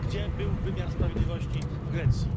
Gdzie był wymiar sprawiedliwości w Grecji?